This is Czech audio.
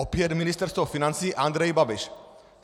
Opět Ministerstvo financí - Andrej Babiš.